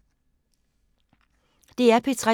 DR P3